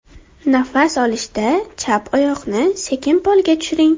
Nafas olishda chap oyoqni sekin polga tushiring.